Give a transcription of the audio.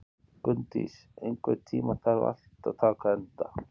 Gunndís, einhvern tímann þarf allt að taka enda.